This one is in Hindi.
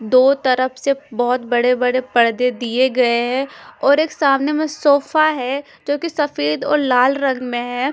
दो तरफ से बहोत बड़े-बड़े पर्दे दिए गए हे और एक सामने में एक सोफा है जो की सफ़ेद और लाल रंग में है।